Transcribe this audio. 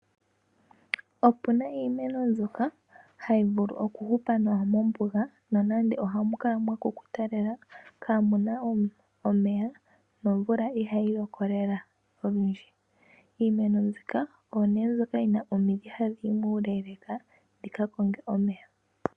Opuna iimeno mbyoka hayi vulu okuhupa nawa mombuga, nonando ohamu kala mwakukuta kaa muna omeya nomvula ihayi loko lela olundji. Iimeno mbika oyo nee mbyoka yina omidhi ha dhi yi muuleeleeka dhikakonge omeya.